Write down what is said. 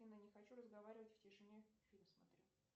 афина не хочу разговаривать в тишине фильм смотрю